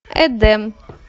эдем